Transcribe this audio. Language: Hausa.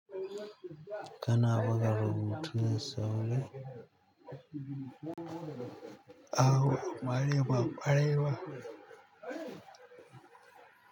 Kana buga rubutu da sauri? A'a ba ƙwarai ba.